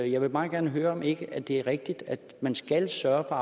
jeg vil meget gerne høre om ikke det er rigtigt at man skal sørge for